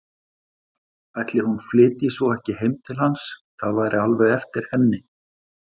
Ætli hún flytji svo ekki heim til hans, það væri alveg eftir henni.